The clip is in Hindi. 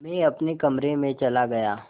मैं अपने कमरे में चला गया